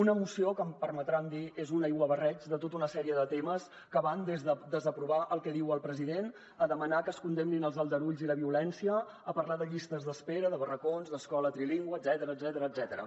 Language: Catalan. una moció que em permetran dir que és un aiguabarreig de tota una sèrie de temes que van des de desaprovar el que diu el president a demanar que es condemnin els aldarulls i la violència a parlar de llistes d’espera de barracons d’escola trilingüe etcètera